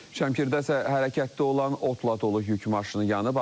Şəmkirdə isə hərəkətdə olan otla dolu yük maşını yanıb.